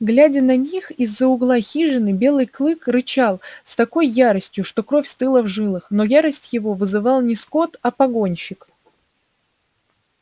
глядя на них из за угла хижины белый клык рычал с такой яростью что кровь стыла в жилах но ярость его вызывал не скотт а погонщик